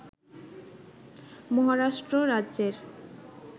মহারাষ্ট্র রাজ্যের